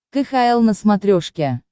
кхл на смотрешке